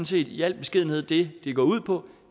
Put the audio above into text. set i al beskedenhed det det går ud på